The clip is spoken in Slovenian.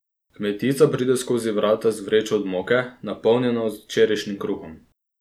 Kmetica pride skozi vrata z vrečo od moke, napolnjeno z včerajšnjim kruhom.